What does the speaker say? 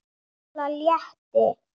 Lalla létti.